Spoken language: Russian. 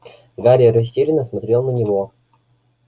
гарри растерянно смотрел на него